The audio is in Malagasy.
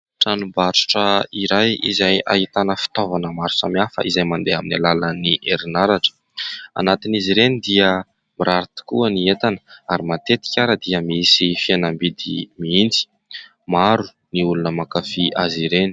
Tranombarotra iray izay ahitana fitaovana maro samihafa izay mandeha amin'ny alalan'ny herinaratra ; anatin'izy ireny dia mirary tokoa ny entana ary matetika ary dia misy fihenam-bidy mihitsy maro ny olona mankafia azy ireny.